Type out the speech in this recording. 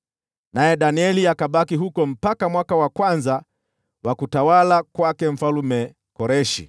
Naye Danieli akabaki huko mpaka mwaka wa kwanza wa utawala wa Mfalme Koreshi.